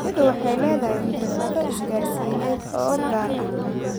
Shinnidu waxay leedahay xirfado isgaarsiineed oo gaar ah.